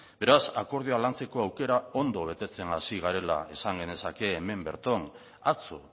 beraz akordioa lantzeko aukera ondo betetzen hasi garela esan genezake hemen berton atzo